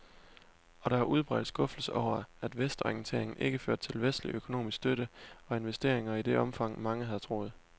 Og der var udbredt skuffelse over, at vestorienteringen ikke førte til vestlig økonomisk støtte og investeringer i det omfang, mange havde troet.